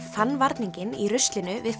fann varninginn í ruslinu við